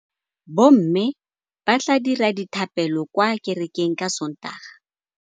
Bommê ba tla dira dithapêlô kwa kerekeng ka Sontaga.